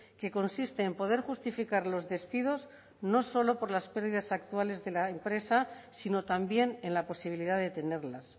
que consiste en poder justificar los despidos no solo por las pérdidas actuales de la empresa sino también en la posibilidad de tenerlas